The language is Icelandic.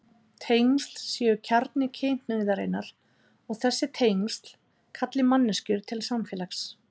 Tengsl séu kjarni kynhneigðarinnar og þessi tengsl kalli manneskjur til samfélags.